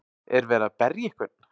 Er verið að berja einhvern?